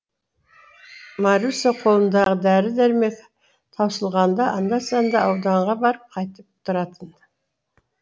маруся қолындағы дәрі дәрмегі таусылғанда анда санда ауданға барып қайтып тұратын